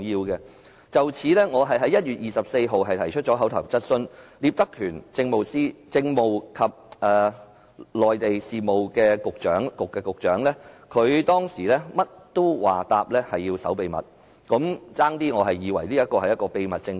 對於此事，我在1月24日提出口頭質詢，當時負責答覆的政制及內地事務局局長聶德權，甚麼都答說要守秘密，我差點以為這是一個秘密政府。